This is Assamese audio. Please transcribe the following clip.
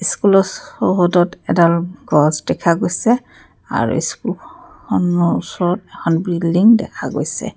স্কুলৰ চৌহদত এডাল গছ দেখা গৈছে আৰু স্কুলখনৰ ওচৰত এখন বিল্ডিং দেখা গৈছে।